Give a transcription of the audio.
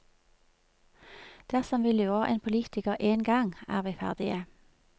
Dersom vi lurer en politiker én gang, er vi ferdige.